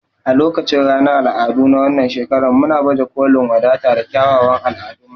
A lokacin ranar al'adu na wannan shekara muna baje kolin wadata da kyawawan al'adunmu.